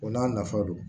O n'a nafa don